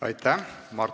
Aitäh!